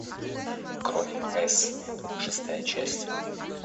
кровь с шестая часть